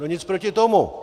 No, nic proti tomu.